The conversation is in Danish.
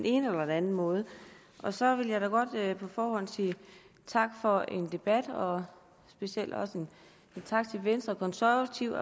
ene eller den anden måde så vil jeg da godt på forhånd sige tak for debatten og specielt også tak til venstre og konservative